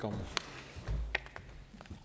for